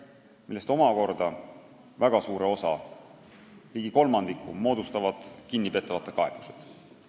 Nendest moodustavad väga suure osa, ligi kolmandiku kinnipeetavate kaebused.